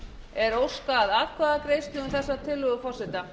er óskað atkvæðagreiðslu um þessa tillögu forseta